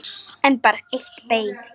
En bara eitt bein.